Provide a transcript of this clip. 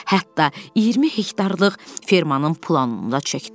Hətta 20 hektarlıq fermannın planını da çəkdi.